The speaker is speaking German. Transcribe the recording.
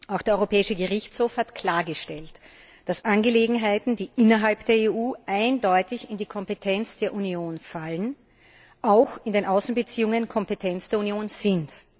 Auch der Europäische Gerichtshof hat klargestellt, dass Angelegenheiten, die innerhalb der EU eindeutig in die Kompetenz der Union fallen, auch in den Außenbeziehungen Kompetenz der Union sind.